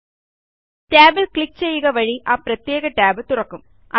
മറ്റൊരു ഷീറ്റ് ടാബിൽ ക്ലിക്ക് ചെയ്യുക വഴി ആ പ്രത്യേക ടാബ് തുറക്കും